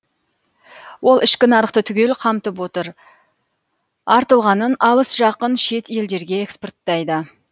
ол ішкі нарықты түгел қамтып отыр артылғанын алыс жақын шет елдерге экспорттайды